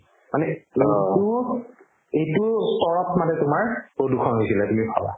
মানে তো এইটো তৰপ মানে তোমাৰ প্ৰদূষণ হৈছিলে তুমি ভাবা